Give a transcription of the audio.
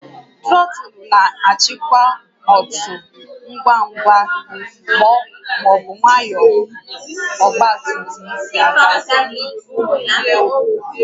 Trọtụlụ na-achịkwa otú ngwa ngwa ma ọ bụ nwayọọ ọgba tum tum si aga